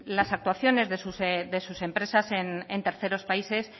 las actuaciones de sus empresas en terceros países